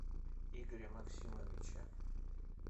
игоря максимовича